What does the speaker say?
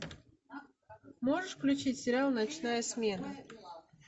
можешь включить сериал ночная смена